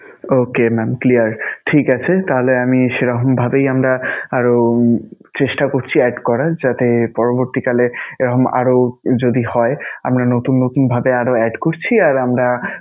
Okay mam clear ঠিক আছে! তাহলে আমি~ সেরকমভাবেই আমরা আরও চেষ্টা করছি add করার. যাতে পরবর্তীকালে এরকম আরও যদি হয় আমরা নতুন নতুনভাবে আরও add করছি আর আমরা